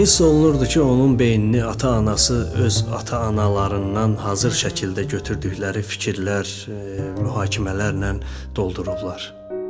Hiss olunurdu ki, onun beynini ata-anası öz ata-analarından hazır şəkildə götürdükləri fikirlər, mühakimələrindən doldurublar.